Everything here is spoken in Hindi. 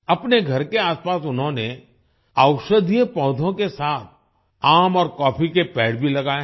अपने घर के आसपास उन्होंने औषधीय पौधों के साथ आम और कॉफ़ी के पेड़ भी लगाए हैं